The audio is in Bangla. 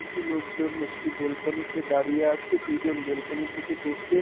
কিছু লোকজন একটি ব্যালকনি - তে দাঁড়িয়ে আছে দুজন ব্যালকনি থেকে দেখছে।